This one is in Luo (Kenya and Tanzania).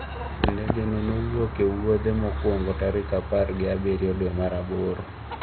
Ndege no nowuok e wuodhe mokwongo tarik apar gi abirio dwe mar aboro.